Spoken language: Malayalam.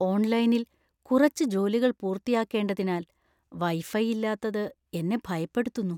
ഓൺലൈനിൽ കുറച്ച് ജോലികൾ പൂർത്തിയാക്കേണ്ടതിനാൽ വൈഫൈ ഇല്ലാത്തത് എന്നെ ഭയപ്പെടുത്തുന്നു.